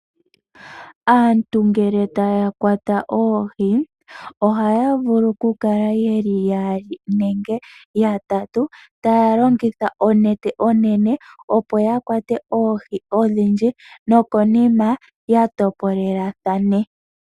Aantu ngele taya kwata oohi, ohaya vulu okukala yaali nenge yatatu, taya longitha onete onene opo ya kwate oohi odhindji nokonima ya topolelathana.